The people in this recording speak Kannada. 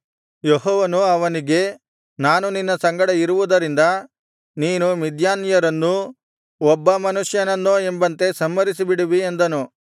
ಯೆಹೋವನು ಅವನಿಗೆ ನಾನು ನಿನ್ನ ಸಂಗಡ ಇರುವುದರಿಂದ ನೀನು ಮಿದ್ಯಾನ್ಯರನ್ನೂ ಒಬ್ಬ ಮನುಷ್ಯನನ್ನೋ ಎಂಬಂತೆ ಸಂಹರಿಸಿಬಿಡುವಿ ಅಂದನು